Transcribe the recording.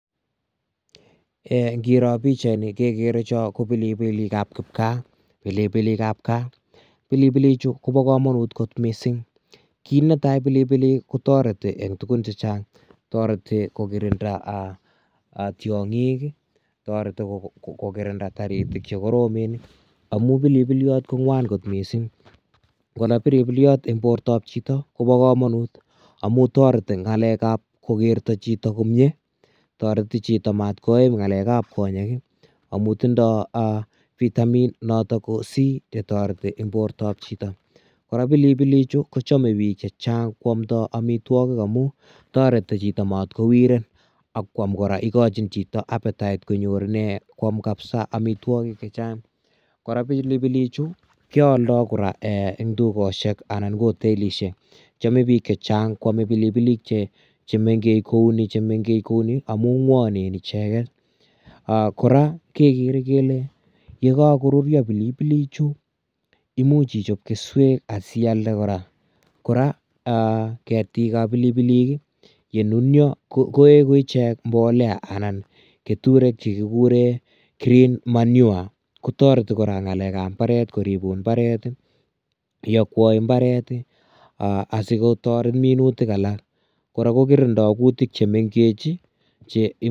Eeh ngiroo pichait ni kegere ke ineni ko pilipilik che kiboo keeeny pilipilik ab kaah pilipilik chuu kobaa kamanut koot missing kit ne tai pilipilik kotaretii eng tuguuk chechaang taretii ko kirindaa tiangiik ii ,taretii ko kotindaa tiangik che koromen amuun pilipiliat ko ngwaan koot en borto ab chitoo koba kamanut amuun taretii ngalek ab kokerta chitoo komyei taretii chitoo matkoim ngalek ab konyeek ii amuun tindaa noton vitamin c notoon koba kamanut en borto ab chitoo kora pilipilik chitoo kochame biik chechaang kwaam ndaa amuun taretii chitoo matkowiren ak kwam kora igochiinn chitoo apetetite kwaam kabisa amitwagiik che chaang kora pilipilik chuu keyaldai kora eng dukosiek anan ko hotelisiek chameet biik chechaang kwame pilipilik che mengeech kou nii amuun ngwanen ichegeet kora kegere kele ye kako ruria pilipilik chuu imuuch ichaap kesweek asialde kora ketiik ab pilipilik ye nunia koegu icheek mbolea anan ketureek chekikuren [green manure ] kotaretii kora ngalek ab mbaret koribuun mbaret iakwai mbaret ii asikotoret minutiik alaak kora ko kirindai kutiik che mengeech ii che.